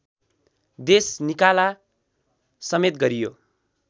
देशनिकाला समेत गरियो